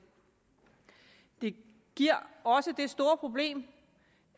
det giver også det store problem